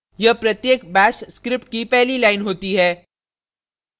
यह प्रत्येक bash script की पहली line होती है